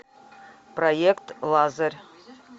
проект лазарь